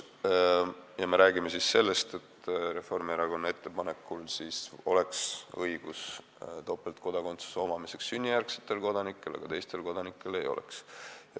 Me räägime siin sellest, et Reformierakonna ettepanekul oleks topeltkodakondsuse omamise õigus sünnijärgsetel kodanikel, aga teistel kodanikel ei oleks.